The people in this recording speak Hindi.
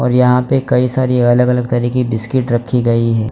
यहाँ पे कई सारी अलग अलग तरह बिस्किट रखीं गई है।